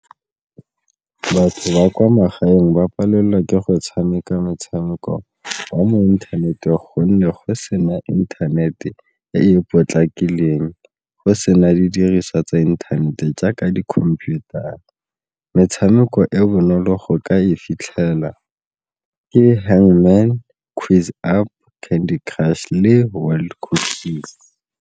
Batho ba kwa magaeng ba palelwa ke go tshameka motshameko wa mo inthaneteng gonne go sena internet e e potlakileng, go sena di diriswa tsa internet-e jaaka di-computer-ra metshameko e bonolo go ka e fitlhela ke hang man, quiz , candy crush le .